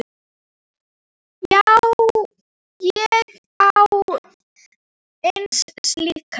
Ég á eina slíka.